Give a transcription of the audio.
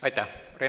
Aitäh!